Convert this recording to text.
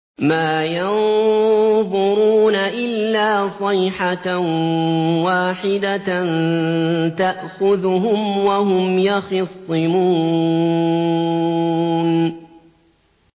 مَا يَنظُرُونَ إِلَّا صَيْحَةً وَاحِدَةً تَأْخُذُهُمْ وَهُمْ يَخِصِّمُونَ